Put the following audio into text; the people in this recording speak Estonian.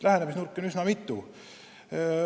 Lähenemisnurki on üsna mitu.